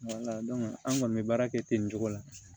an kɔni bɛ baara kɛ ten nin cogo la